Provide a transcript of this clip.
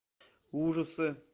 ужасы